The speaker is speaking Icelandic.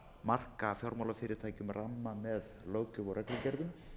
marka fjármálafyrirtækjum ramma með löggjöf og reglugerðum